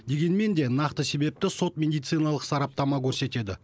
дегенмен де нақты себепті сот медициналық сараптама көрсетеді